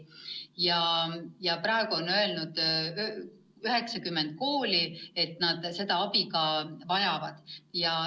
Ja praegu on öelnud 90 kooli, et nad seda abi ka vajavad.